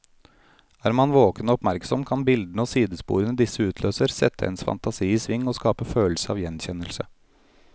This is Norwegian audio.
Er man våken og oppmerksom, kan bildene og sidesporene disse utløser, sette ens fantasi i sving og skape følelse av gjenkjennelse.